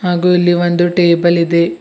ಹಾಗು ಇಲ್ಲಿ ಒಂದು ಟೇಬಲ್ ಇದೆ.